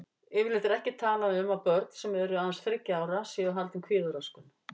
Yfirleitt er ekki talað um að börn sem eru aðeins þriggja ára séu haldin kvíðaröskun.